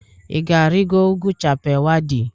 Ị ga-arịgo ugwu Chappal Waddi?